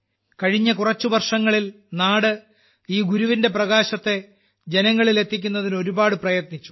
കഴിഞ്ഞ കുറച്ചു വർഷങ്ങളിൽ നാട് ഈ ഗുരുവിന്റെ പ്രകാശത്തെ ജനങ്ങളിൽ എത്തിക്കുന്നതിന് ഒരുപാട് പ്രയത്നിച്ചു